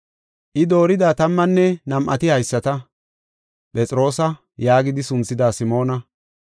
I doorida tammanne nam7ati haysata: Phexroosa yaagidi sunthida Simoona,